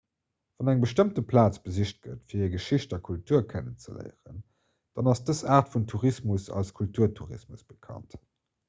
wann eng bestëmmt plaz besicht gëtt fir hir geschicht a kultur kennenzeléieren dann ass dës aart vun tourismus als kulturtourismus bekannt